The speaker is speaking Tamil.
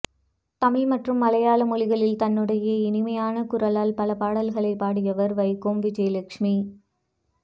தமிழ் மற்றும் மலையாள மொழிகளில் தன்னுடைய இனிமையான குரலால் பல பாடல்கள்களை பாடியவர் வைக்கோம் விஜயலட்சுமி